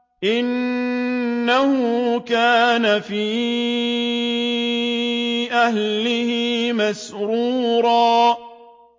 إِنَّهُ كَانَ فِي أَهْلِهِ مَسْرُورًا